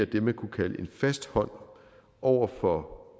det man kunne kalde en fast hånd over for